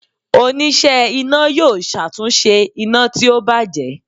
onise iná yọọ ṣatunṣe ina ti o bajẹ.